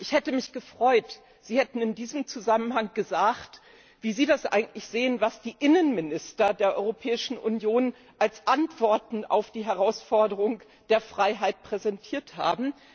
Ich hätte mich gefreut, wenn Sie in diesem Zusammenhang gesagt hätten, wie Sie das eigentlich sehen, was die Innenminister der Europäischen Union als Antworten auf die Herausforderung der Freiheit präsentiert haben.